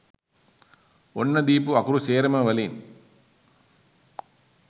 ඔන්න දීපු අකුරු සේරම වලින්